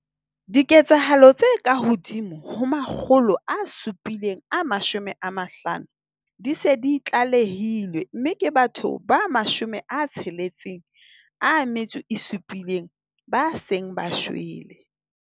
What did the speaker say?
Diketsahalo tse kahodimo ho 750 di se di tlalehilwe mme ke batho ba 67 ba seng ba shwele.